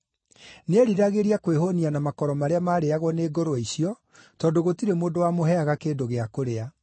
Nĩeriragĩria kwĩhũũnia na makoro marĩa maarĩĩagwo nĩ ngũrwe icio tondũ gũtirĩ mũndũ wamũheaga kĩndũ gĩa kũrĩa.